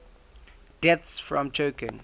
deaths from choking